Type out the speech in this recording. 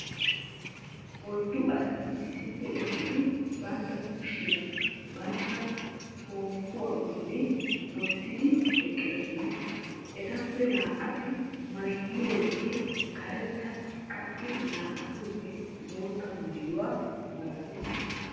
oyddu asati issippe eqqidi bantta kushiya bantta poopuwa boli wottidi eqqidosona. Etappe naa"ati maayidooge karetta qassi naa''atuugee bootta maayo malattees.